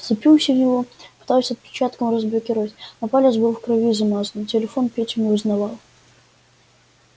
вцепился в него пытался отпечатком разблокировать но палец был в крови замазан телефон петю не узнавал